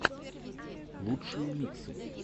лучшие миксы